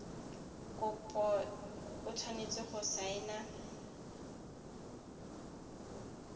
kopo o tshwanetse go saena